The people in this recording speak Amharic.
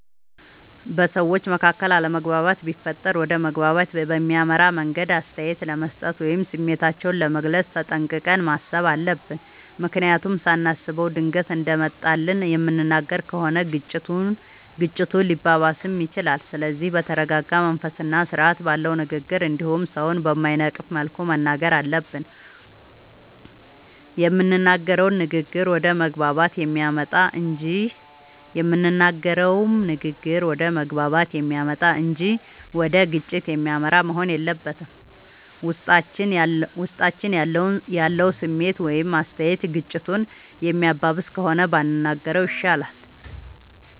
በሠዎች መካከል አለመግባባት ቢፈጠር ወደ መግባባት በሚያመራ መንገድ አስተያየት ለመስጠት ወይም ስሜታችንን ለመግለፅ ተጠንቅቀን ማሠብ አለብ። ምክንያቱም ሳናስበው ድንገት እንደመጣልን የምንናገር ከሆነ ግጭቱ ሊባባስም ይችላል። ስለዚህ በተረረጋ መንፈስና ስርአት ባለው ንግግር እንዲሁም ሠውን በማይነቅፍ መልኩ መናገር አለብን። የምንናገረውም ንግግር ወደ መግባባት የሚያመጣ እንጂ ወደ ግጭት የሚመራ መሆን የለበትም። ውስጣችን ያለው ስሜት ወይም አስተያየት ግጭቱን የሚያባብስ ከሆነ ባንናገረው ይሻላል።